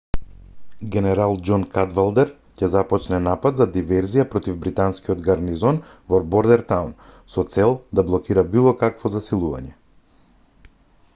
генерал џон кадвалдер ќе започне напад за диверзија против британскиот гарнизон во бордертаун со цел да блокира какво било засилување